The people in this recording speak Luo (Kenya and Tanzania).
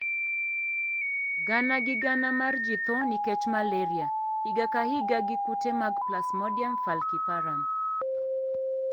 Gana gi gana mar ji tho nikech malaria higa ka higa gi kute mag Plasmodium falciparum